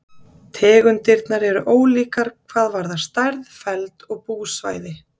Tegundirnar eru ólíkar hvað varðar stærð, feld og búsvæði.